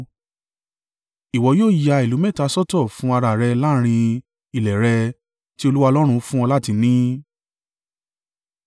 Ìwọ yóò ya ìlú mẹ́ta sọ́tọ̀ fún ara à rẹ láàrín ilẹ̀ rẹ tí Olúwa Ọlọ́run fún ọ láti ni.